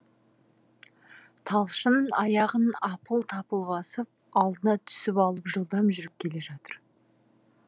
талшын аяғын апыл тапыл басып алдыма түсіп алып жылдам жүріп келе жатыр